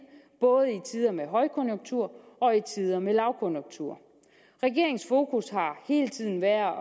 både i tider med højkonjunktur og i tider med lavkonjunktur regeringens fokus har hele tiden været at